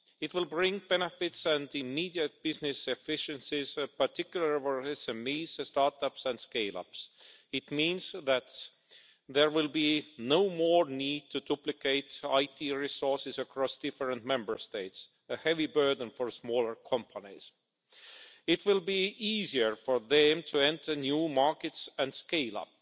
It will bring benefits and immediate business efficiencies, particularly for SMEs, start ups and scale-ups. It means that there will be no more need to duplicate IT resources across different Member States, a heavy burden for smaller companies. It will be easier for them to enter new markets and scale up.